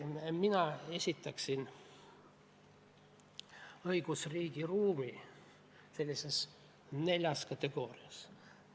Mina esitaksin õigusriigi ruumi sellises neljas kategoorias.